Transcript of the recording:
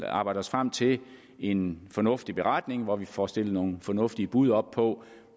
arbejde os frem til en fornuftig beretning hvor vi får stillet nogle fornuftige bud op på